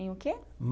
Em o quê?